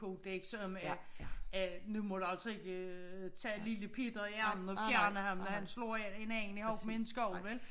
Kodeks om at at nu må du altså ikke tage lille Peter i armen og fjerne ham når han slår en anden i hovedet men en skovl vel